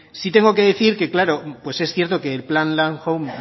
sí tengo que decir que es cierto que el plan landhome